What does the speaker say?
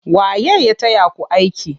Waye ya taya ku aiki?